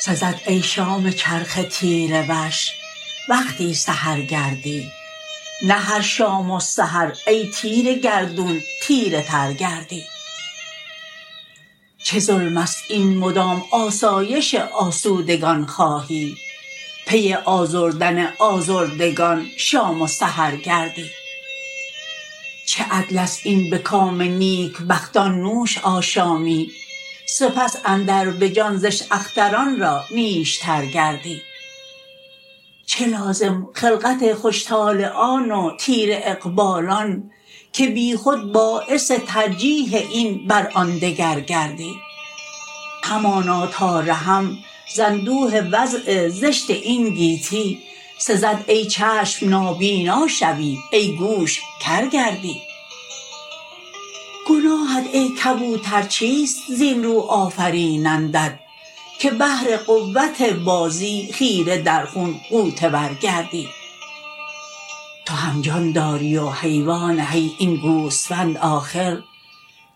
سزد ای شام چرخ تیره وش وقتی سحر گردی نه هر شام و سحر ای تیره گردون تیره تر گردی چه ظلم است این مدام آسایش آسودگان خواهی پی آزردن آزردگان شام و سحر گردی چه عدل است این به کام نیک بختان نوش آشامی سپس اندر به جان زشت اختران را نیشتر گردی چه لازم خلقت خوش طلعان و تیره اقبالان که بی خود باعث ترجیح این بر آن دگر گردی همانا تا رهم زاندوه وضع زشت این گیتی سزد ای چشم نابینا شوی ای گوش کر گردی گناهت ای کبوتر چیست زین رو آفرینندت که بهر قوت بازی خیره در خون غوطه ور گردی تو هم جان داری و حیوان حی این گوسفند آخر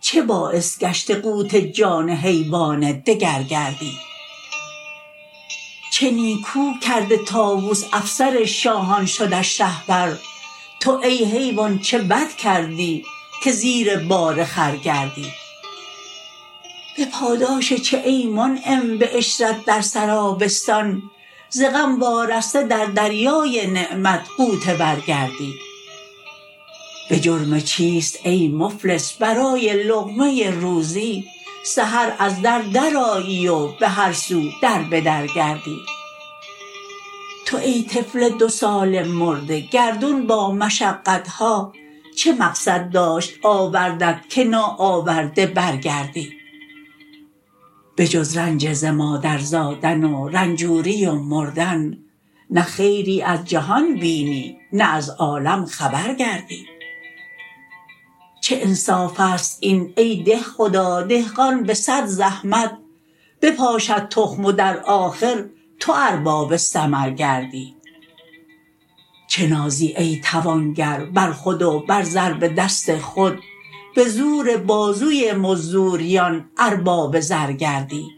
چه باعث گشته قوت جان حیوان دگر گردی چه نیکو گرده طاوس افسر شاهان شدش شهپر تو ای حیوان چه بد کردی که زیر بار خر گردی به پاداش چه ای منعم به عشرت در سرابستان ز غم وارسته در دریای نعمت غوطه ور گردی به جرم چیست ای مفلس برای لقمه روزی سحر از در درآیی و بهر سو در بدر گردی تو ای طفل دو ساله مرده گردون با مشقت ها چه مقصد داشت آوردت که ناآورده برگردی به جز رنج ز مادر زادن و رنجوری و مردن نه خیری از جهان بینی نه از عالم خبر گردی چه انصاف است این ای دهخدا دهقان به صد زحمت به پا شد تخم و در آخر تو ارباب ثمر گردی چه نازی ای توانگر بر خود و بر ضرب دست خود به زور بازوی مزدوریانارباب زر گردی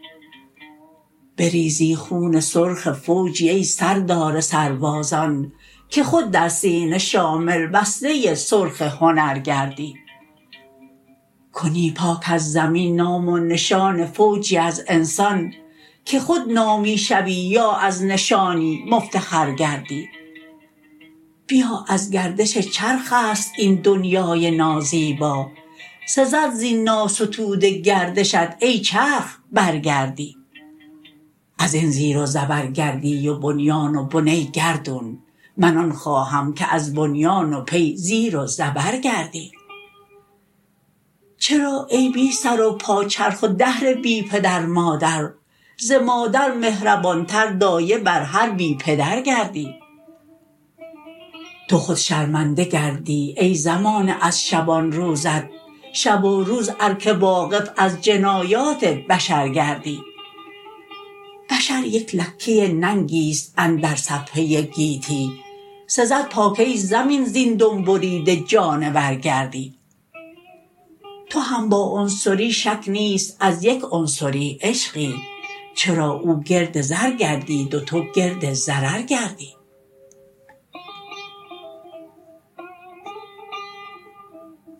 بریزی خون سرخ فوجی ای سردار سربازان که خود در سینه شامل وصله سرخ هنر گردی کنی پاک از زمین نام و نشان فوجی از انسان که خود نامی شوی یا از نشانی مفتخر گردی بپا از گردش چرخ است این دنیای نازیبا سزد زین ناستوده گردشت ای چرخ برگردی از این زیر و زبر گردی و بنیان و بن ای گردون من آن خواهم که از بنیان و پی زیر و زبر گردی چرا ای بی سر و پا چرخ و دهر بی پدر مادر ز مادر مهربان تر دایه بر هر بی پدر گردی تو خود شرمنده گردی ای زمانه از شبانروزت شب و روز ار که واقف از جنایات بشر گردی بشر یک لکه ننگی است اندر صفحه گیتی سزد پاک ای زمین زین دم بریده جانور گردی تو هم با عنصری شک نیست از یک عنصری عشقی چرا او گرد زر گردید و تو گرد ضرر گردی